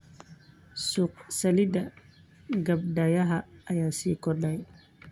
Suuqa saliidda gabbaldayaha ayaa sii kordhaya.